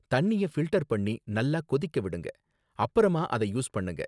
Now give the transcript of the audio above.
தண்ணிய ஃபில்டர் பண்ணி நல்லா கொதிக்க விடுங்க, அப்பறமா அத யூஸ் பண்ணுங்க